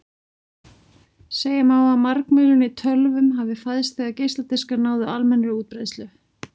Segja má að margmiðlun í tölvum hafi fæðst þegar geisladiskar náðu almennri útbreiðslu.